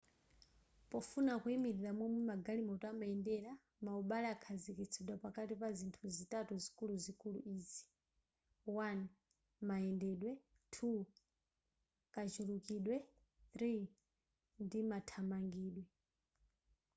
pofuna kuyimilira momwe magalimoto amayendera maubale akhazikitsidwa pakati pa zinthu zitatu zikuluzikulu izi: 1 mayendedwe 2 kachulukidwe ndi 3 mathamangidwe